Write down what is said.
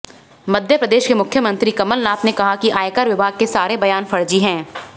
मध्यप्रदेश के मुख्यमंत्री कमलनाथ ने कहा कि आयकर विभाग के सारे बयान फर्जी हैं